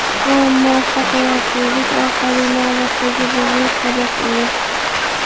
Bu muvaffaqiyatsizlik orqali navbatdagi biznes-saboq edi.